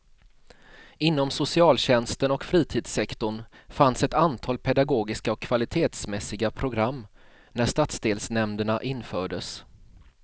Inom socialtjänsten och fritidssektorn fanns ett antal pedagogiska och kvalitetsmässiga program när stadsdelsnämnderna infördes.